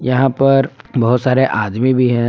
यहां पर बहुत सारे आदमी भी हैं।